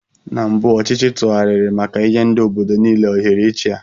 Na mbụ ọchịchị tụgharịrị maka nye ndị obodo niile ohere ị chia.